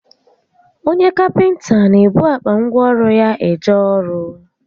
Onye kapịnta n'ebu akpa ngwa ọrụ ya eje ọrụ